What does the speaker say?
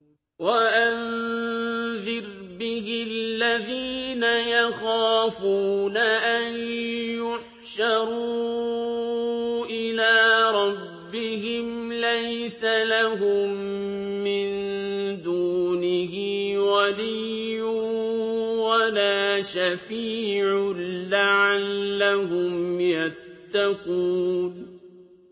وَأَنذِرْ بِهِ الَّذِينَ يَخَافُونَ أَن يُحْشَرُوا إِلَىٰ رَبِّهِمْ ۙ لَيْسَ لَهُم مِّن دُونِهِ وَلِيٌّ وَلَا شَفِيعٌ لَّعَلَّهُمْ يَتَّقُونَ